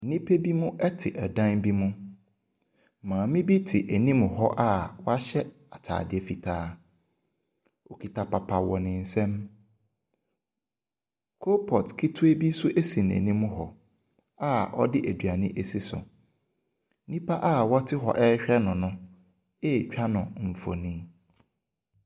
Nnipa binom te dan bi mu. Maame bi anim hɔ a wɔahyɛ ataade fitaa. Okita papa wɔ ne nsam. Coal pot ketewa bi nso si n'anim hɔ a ɔde aduane asi so. Nnipa a wɔte hɔ rehwɛ no no retwa no mfoni.